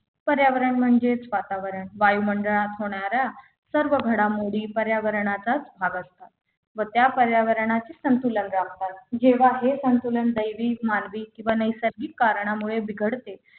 पर्यावरण म्हणजेच वातावरण वायुमंडळात होणाऱ्या सर्व घडामोडी पर्यावरणाचा भाग असतात मग त्या पर्यावरणाचे संतुलन राखतात जेव्हा हे संतुलन दैविक मानवीक किंवा नैसर्गिक कारणामुळे बिघडते